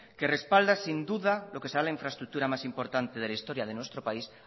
que respalda sin duda lo que será la infraestructura más importante de la historia de nuestro país